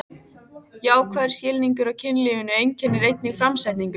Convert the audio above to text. Jákvæður skilningur á kynlífinu einkennir einnig framsetningu